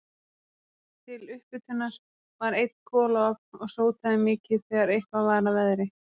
Til upphitunar var einn kolaofn og sótaði mikið þegar eitthvað var að veðri.